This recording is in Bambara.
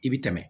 I bi tɛmɛ